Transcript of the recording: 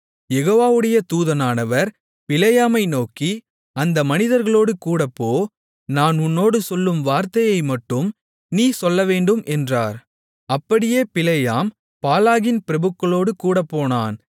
யெகோவாவுடைய தூதனானவர் பிலேயாமை நோக்கி அந்த மனிதர்களோடு கூடப்போ நான் உன்னோடு சொல்லும் வார்த்தையை மட்டும் நீ சொல்லவேண்டும் என்றார் அப்படியே பிலேயாம் பாலாகின் பிரபுக்களோடு கூடப்போனான்